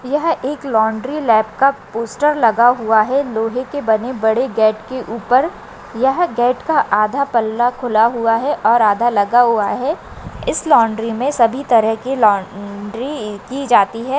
यह एक laundry lab का पोस्टर लगा हुआ है लोहे के बने-बड़े गेट के उपर यह गेट का आधा पल्ला खुला हुआ है और आधा लगा हुआ है इस लाँड्री मे सभी तरह की लाँड्री की जाती है।